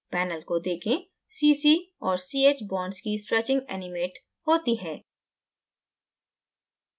panel को देखें cc और ch bonds की stretching एनिमेट होती है